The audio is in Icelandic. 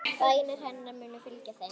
Bænir hennar munu fylgja þeim.